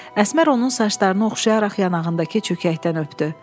Əsmər onun saçlarını oxşayaraq yanağındakı çökəkdən öpdü.